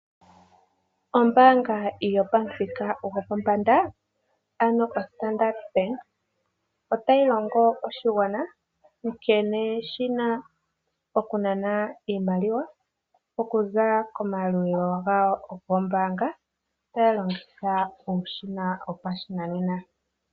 Ombaanga yopamuthika gopombanda ano oStandard bank otayi longo oshigwana nkene shina okunana iimaliwa oku za komayalulilo gawo gombaanga taya longitha uushina wopashinanena.